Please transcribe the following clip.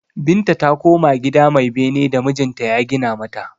Binta ta koma gida mai bene da mijinta ya gina mata.